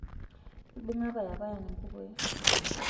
ibunga payapayan kukui